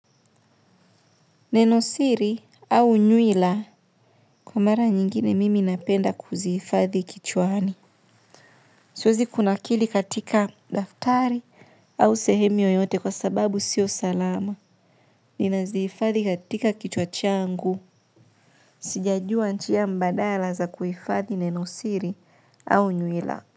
Nenosiri au nyuila kwa mara nyingine mimi napenda kuzihifadhi kichwani. Siwezi kuna kili katika daftari au sehemu yoyote kwa sababu sio salama. Nina zifadhi katika kichwa changu. Sijajua njia mbadala za kuifadhi nenosiri au nyuila.